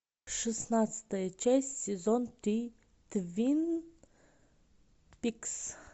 шестнадцатая часть сезон три твин пикс